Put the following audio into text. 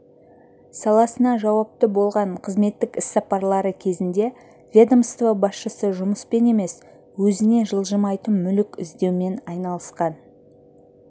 саласына жауапты болған қызметтік іс-сапарлары кезінде ведомство басшысы жұмыспен емес өзіне жылжымайтын мүлік іздеумен айналысқан